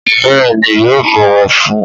Bẹ́ẹ̀ni yóò bọwọ fún